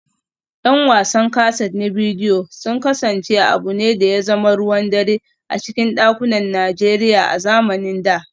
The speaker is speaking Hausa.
’Yan wasan kaset na bidiyo sun kasance abu ne da ya zama ruwan dare a cikin dakunan Najeriya a zamanin da